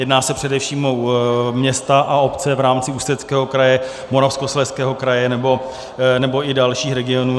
Jedná se především o města a obce v rámci Ústeckého kraje, Moravskoslezského kraje nebo i dalších regionů.